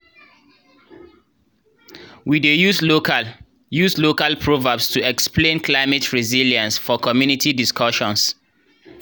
we dey use local use local proverbs to explain climate resilience for community discussions